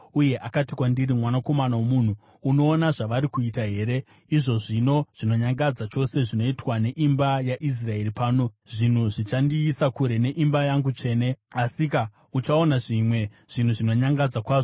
Uye akati kwandiri, “Mwanakomana womunhu, unoona zvavari kuita here, izvo zvinhu zvinonyangadza chose zvinoitwa neimba yaIsraeri pano, zvinhu zvichandiisa kure neimba yangu tsvene? Asika, uchaona zvimwe zvinhu zvinonyangadza kwazvo.”